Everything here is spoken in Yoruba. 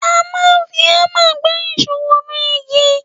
A máa ń fi ámà gbá ìṣó wọnú igi.